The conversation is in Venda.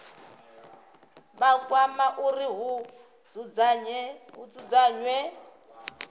vha kwama uri hu dzudzanywe